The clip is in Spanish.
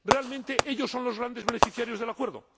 Realmente, ellos son los grandes beneficiarios del acuerdo.